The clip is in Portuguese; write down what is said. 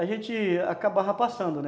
a gente acabava passando, né?